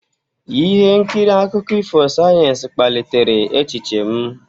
Ihe nkiri akụkọ ifo sayensị kpalitere echiche m.